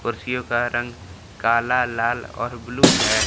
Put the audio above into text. कुर्सियों का रंग काला लाल और ब्लू है।